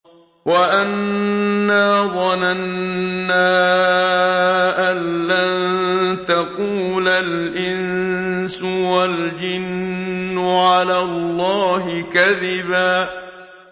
وَأَنَّا ظَنَنَّا أَن لَّن تَقُولَ الْإِنسُ وَالْجِنُّ عَلَى اللَّهِ كَذِبًا